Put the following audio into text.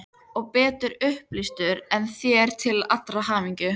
Og betur upplýstur en þér til allrar hamingju.